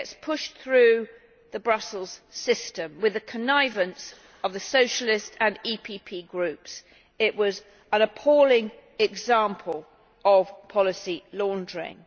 It gets pushed through the Brussels system with the connivance of the Socialist and PPE Groups. It was an appalling example of policy laundering.